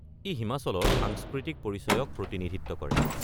ই হিমাচলৰ সাংস্কৃতিক পৰিচয়ক প্ৰতিনিধিত্ব কৰে।